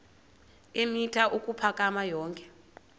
eemitha ukuphakama yonke